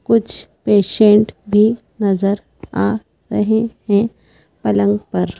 कुछ पेशेंट भी नजर आ रहे हैं पलंग पर।